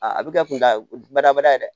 A bɛ kɛ kundabada ye dɛ